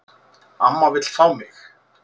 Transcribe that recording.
Amma vill fá mig.